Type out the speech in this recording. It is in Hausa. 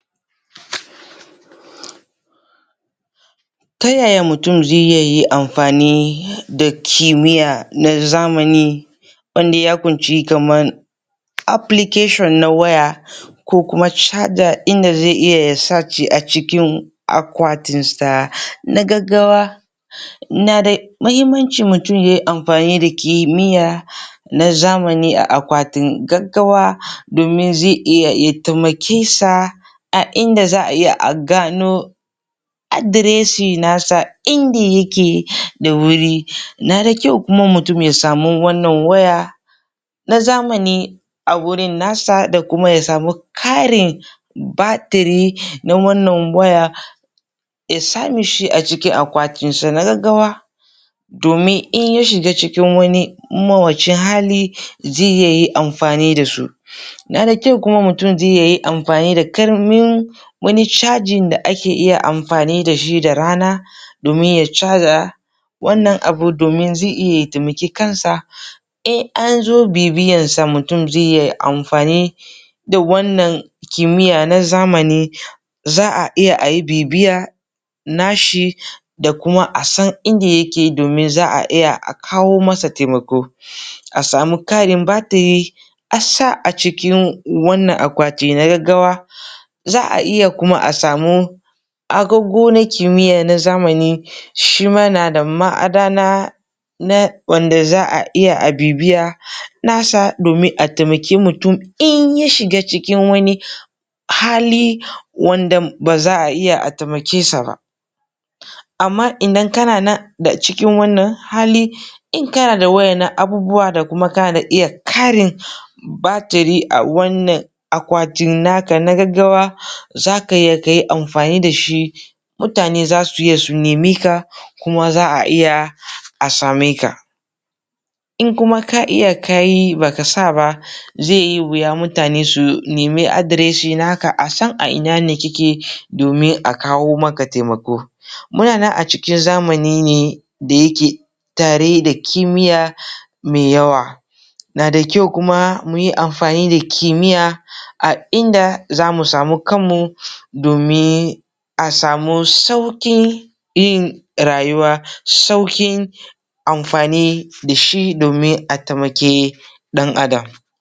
Ta yaya mutum zai iya yi amfani da kimiya na zamani wanda ya kunshi kaman application na waya kuma caja inda zai iya ya sashi a cikin akwatinsa na gaggawa Na da muhimmanci mutum ya yi amfani da kimiyya na zamani a akwatin gaggawa domin zai iya ya taimake sa a inda za a iya a gano adoreshi nasa inda yake da wuri na na dakyau kuma mutum ya samu wannan waya na zamani a Adireshi nasa inda yake da wuri na dakyau kuma mutum ya samo wannan waya Na zamani a wurin nasa da kuma ya samu karin batiri na wannan waya Ya samishi a cikin akwatin sa na gaggawa domin in ya shiga cikin wani mawuyacin hali zai iya yin amfani da su Na da kyau kuma mutum zai iya yin amfani da karamin wani cajin da ake iya amfani da shi da rana domin ya caza wannan abu domin zai iya ya taimaki kansa in anzo bibiyansa mutum zai iya amfani da wannan kimiyya na zamani za a iya ayi bibiya nashi da kuma a san inda yake domin za a iya a kawo masa taimako a samun karin batiri a sa a cikin wannan akwati na gaggawa za a iya kuma a samu agogo na kimiya na zamani shima na da ma'adana na wanda za a iya bibiya na sa domin a taimake mutum in ya shiga cikin wani hali wanda ba za a iya a taimke sa ba amma idan kana nan da cikin wannan hali in kana da wayannan abubuwa da kuma kana da iya karin batiri a wannan akwatin naka na gaggawa za ka na iya ka yi amfani da shi za su iya su nemeka kuma za a iya a same ka in kuma ka iya ka yi baka sa ba zai yi wuya mutane su nemi adireshi naka a san a ina ne kike domin a kawo maka taimako muna nan a cikin zamani ne da yake tare da kimiya mai yawa na da kyau kuma mu yi amfani da kimiyya a inda za mu samu kanmu domin a samu saukin yin rayuwa saukin amfani da shi domin a taimaki dan adam